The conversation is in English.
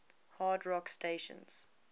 hard rock stations